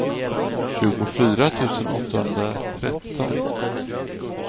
tjugofyra tusen åttahundratretton